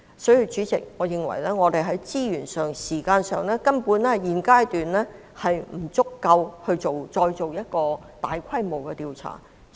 因此，主席，我認為我們現階段在資源和時間上根本不足以進行大規模的調查。